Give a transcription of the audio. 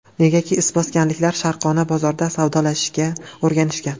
Negaki, izboskanliklar sharqona bozorda savdolashishga o‘rganishgan.